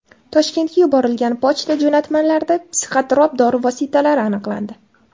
Toshkentga yuborilgan pochta jo‘natmalarida psixotrop dori vositalari aniqlandi.